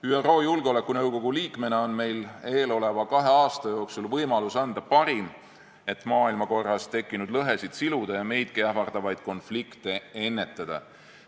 ÜRO Julgeolekunõukogu liikmena on meil eeloleva kahe aasta jooksul võimalus anda parim, et maailmakorras tekkinud lõhesid siluda ja meidki ähvardavaid konflikte ennetada.